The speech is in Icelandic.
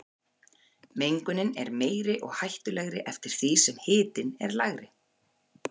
Mengunin er meiri og hættulegri eftir því sem hitinn er lægri.